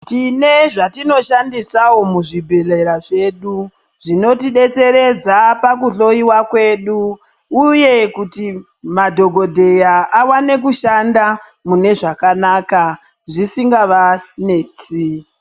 Tine zvatinoshandisawo muzvibhedhlera zvedu zvinotidetseredza pakuhloiwa kwedu uye kuti madhogodheya awane kushanda mune zvakanaka zvisingavanetsi.